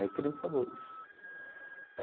Aí que ele me falou isso.